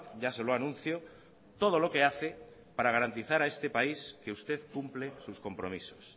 ya se lo anuncio todo lo que hace para garantizar a este país que usted cumple sus compromisos